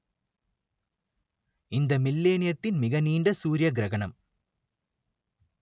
இந்த மில்லேனியத்தின் மிக நீண்ட சூரிய கிரகணம்